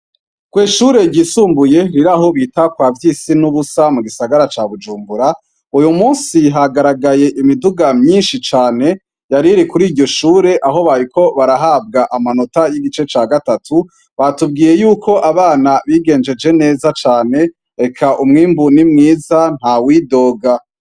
Kwishure ryisumbuye riraho bita kwa vyisi nubusa mugisagara ca bujumbura uyumusi hagaragaye imiduga mwinshi cane yariri kwiryoshure aho bariko barahabwa amanota yigice cagatatu batubwiye yuko abana bigenjenje neza cane eka umwimbu nimwiza ntawidoga